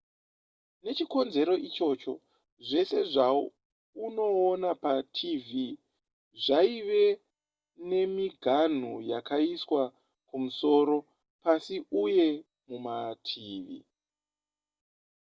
nechikonzero ichocho zvese zvaunoona patv zvaive nemiganhu yakaiswa kumusoro pasi uye mumativi